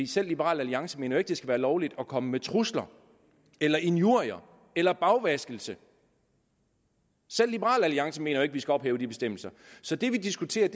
selv liberal alliance mener jo det skal være lovligt at komme med trusler eller injurier eller bagvaskelse selv liberal alliance mener jo ikke at vi skal ophæve de bestemmelser så det vi diskuterer